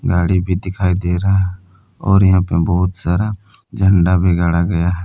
गाड़ी भी दिखाई दे रहा और यहां पे बहुत सारा झंडा भी गाड़ा गया--